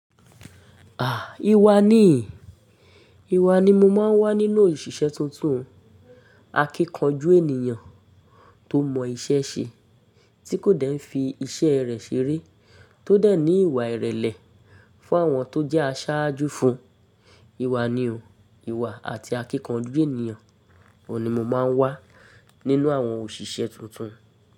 À ìwà ni, ìwà ni mo máa ń wà nínú òṣìṣẹ́ tuntun. Akíkanjú ènìyàn tó mọ iṣẹ́ ṣe tí kò dẹ̀ ń fi iṣẹ́ rẹ̀ ṣeré, tó dẹ̀ ní ìwà ìrẹ̀lẹ̀ fún àwọn tó jẹ́ aṣáájú fún un. Ìwà ni o, ìwà àti akínkanjú ènìyàn òní mo máa ń wà nínú àwọn òṣìṣẹ́ tuntun.